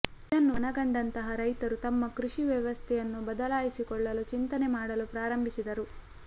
ಇದನ್ನು ಮನಗಂಡಂತಹ ರೈತರು ತಮ್ಮ ಕೃಷಿ ವ್ಯವಸ್ಥೆಯನ್ನು ಬದಲಾಯಿಸಿಕೊಳ್ಳಲು ಚಿಂತನೆ ಮಾಡಲು ಪ್ರಾರಂಭಿಸಿದರು